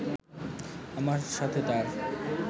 আমার সাথে তার